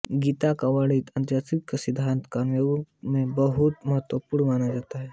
गीता में वर्णित अनासक्ति का सिद्धान्त कर्मयोग में बहुत महत्वपूर्ण माना जाता है